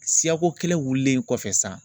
Siyako kelen wulilen kɔfɛ san